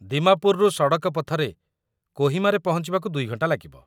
ଦିମାପୁରରୁ ସଡ଼କ ପଥରେ କୋହିମାରେ ପହଞ୍ଚିବାକୁ ୨ ଘଣ୍ଟା ଲାଗିବ।